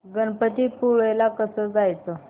गणपतीपुळे ला कसं जायचं